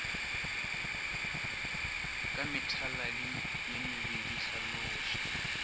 ka methaladi ye mebedi hlaloša